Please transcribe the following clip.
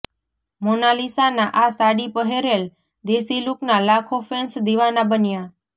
મોનાલિસાના આ સાડી પહેરેલ દેશી લુકના લાખો ફેન્સ દીવાના બન્યા